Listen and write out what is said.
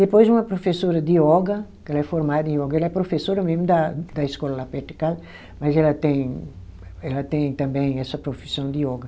Depois uma professora de yoga, que ela é formada em yoga, ela é professora mesmo da da escola lá perto de casa, mas ela tem, ela tem também essa profissão de yoga.